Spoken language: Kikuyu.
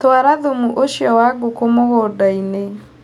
Twara thumu ũcio wa ngũkũ mũgũndainĩ.